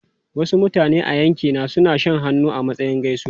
Wasu mutane a yankina suna shan hannu a matsayin gaisuwa.